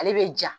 Ale bɛ ja